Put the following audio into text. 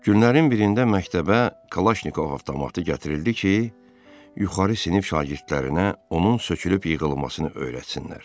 Günlərin birində məktəbə Kalaşnikov avtomatı gətirildi ki, yuxarı sinif şagirdlərinə onun sökülüb yığılmasını öyrətsinlər.